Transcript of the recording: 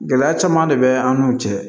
Gɛlɛya caman de bɛ an n'u cɛ